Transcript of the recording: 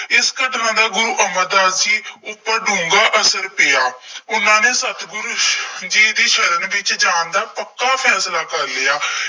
ਇਸ ਘਟਨਾ ਦਾ ਗੁਰੂ ਅਮਰਦਾਸ ਜੀ ਉੱਪਰ ਡੂੰਘਾ ਅਸਰ ਪਿਆ। ਉਹਨਾ ਨੇ ਸਤਿਗੁਰੂ ਜੀ ਦੀ ਸ਼ਰਨ ਵਿੱਚ ਜਾਣ ਦਾ ਪੱਕਾ ਫੈਸਲਾ ਕਰ ਲਿਆ।